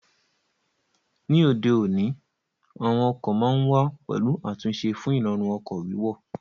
Ní òde òní, àwọn ọkọ̀ ma ń wà pẹ̀lú àtúnṣe fún Ìrọ̀rùn ọkọ̀ wíwọ̀